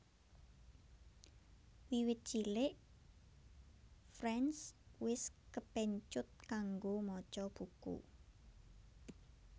Wiwit cilik France wis kepencut kanggo maca buku